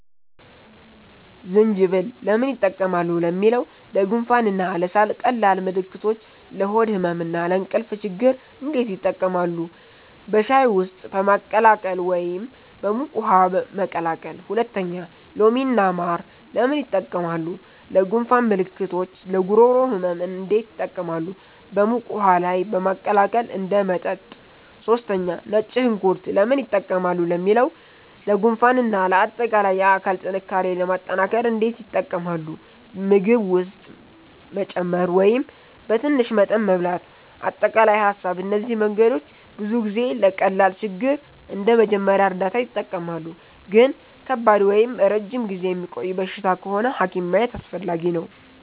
1) ዝንጅብል (Ginger) ለምን ይጠቀማሉ ለሚለው? ለጉንፋን እና ለሳል ቀላል ምልክቶች ለሆድ ህመም እና ለእንቅልፍ ችግኝ እንዴት ይጠቀማሉ? በሻይ ውስጥ በማቀላቀል ወይም በሙቅ ውሃ መቀቀል 2) ሎሚ እና ማር (Lemon & Honey) ለምን ይጠቀማሉ? ለጉንፋን ምልክቶች ለጉሮሮ ህመም እንዴት ይጠቀማሉ? በሙቅ ውሃ ላይ በማቀላቀል እንደ መጠጥ 3) ነጭ ሽንኩርት (Garlic) ለምን ይጠቀማሉ ለሚለው? ለጉንፋን እና ለአጠቃላይ የአካል ጥንካሬ ለማጠናከር እንዴት ይጠቀማሉ? በምግብ ውስጥ መጨመር ወይም በትንሽ መጠን መብላት አጠቃላይ ሀሳብ እነዚህ መንገዶች ብዙ ጊዜ ለቀላል ችግር እንደ መጀመሪያ እርዳታ ይጠቀማሉ ግን ከባድ ወይም ረጅም ጊዜ የሚቆይ በሽታ ከሆነ ሐኪም ማየት አስፈላጊ ነው